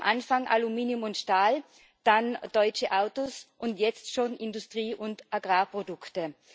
Am Anfang Aluminium und Stahl, dann deutsche Autos und jetzt schon Industrie und Agrarprodukte.